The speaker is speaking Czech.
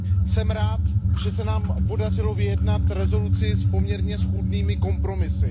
Jsem rád, že se nám podařilo vyjednat rezoluci s poměrně schůdnými kompromisy.